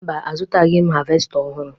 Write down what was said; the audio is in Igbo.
Mba, azụtaghị m havesta ọhụrụ